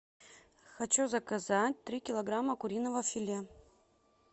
хочу заказать три килограмма куриного филе